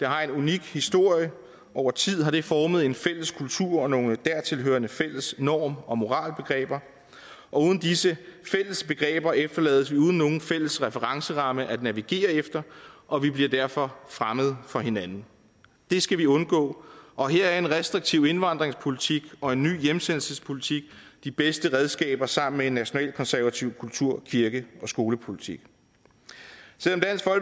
har en unik historie over tid har det formet en fælles kultur og nogle dertilhørende fælles norm og moralbegreber og uden disse fælles begreber efterlades vi uden nogen fælles referenceramme at navigere efter og vi bliver derfor fremmede for hinanden det skal vi undgå og her er en restriktiv indvandringspolitik og en ny hjemsendelsespolitik de bedste redskaber sammen med en nationalkonservativ kultur kirke og skolepolitik